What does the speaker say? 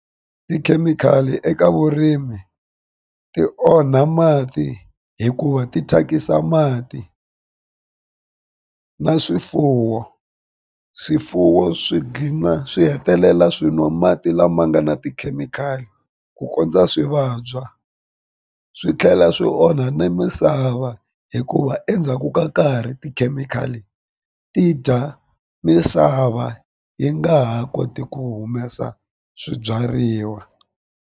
Tikhemikhali eka vurimi ti onha mati hikuva ti thyakisa mati na swifuwo swifuwo swi dlina swi hetelela swi nwa mati lama nga na tikhemikhali ku kondza swi vabya swi tlhela swi onha ni misava hikuva endzhaku ka nkarhi tikhemikhali ti dya misava yi nga ha koti ku humesa swibyariwa.